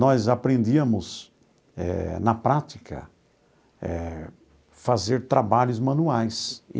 Nós aprendíamos eh, na prática eh, fazer trabalhos manuais.